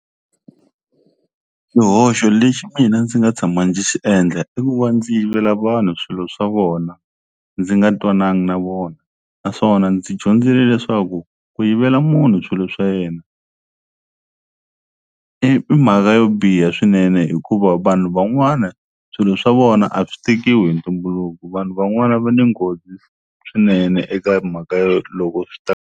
Xihoxo lexi mina ndzi nga tshama ndzi xi endla i ku va ndzi yivela vanhu swilo swa vona ndzi nga twanangi na vona naswona ndzi dyondzile leswaku ku yivela munhu swilo swa yena i i mhaka yo biha swinene hikuva vanhu van'wana swilo swa vona a swi tekiwi hi ntumbuluko vanhu van'wana va ni nghozi swinene eka mhaka yo loko swi ta.